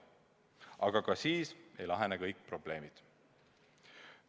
Aga ka siis ei lahene kõik probleemid.